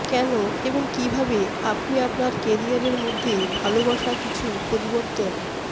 কেন এবং কিভাবে আপনি আপনার ক্যারিয়ারের মধ্যে ভালবাসা কিছু পরিবর্তন